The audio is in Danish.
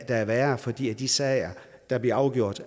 er værre fordi de sager der bliver afgjort